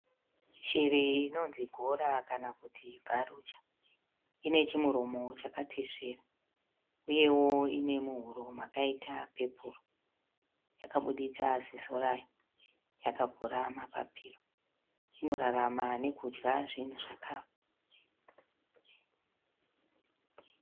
Shiri inonzi gora kana kuti Vulture inechimuromo chakatesvera. Uyewo ine muhuro makaita pepuru. Yakabuditsa ziso rayo yakavhura mapapiro. I norarama nekudya zvinhu zvakafa.